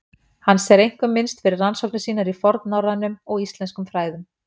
Hans er einkum minnst fyrir rannsóknir sínar í fornnorrænum og íslenskum fræðum.